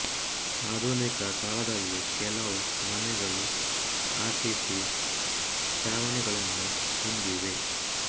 ಆಧುನಿಕ ಕಾಲದಲ್ಲಿ ಕೆಲವು ಮನೆಗಳು ಆರ್ ಸಿ ಸಿ ಛಾವಣಿಗಳನ್ನು ಹೊಂದಿವೆ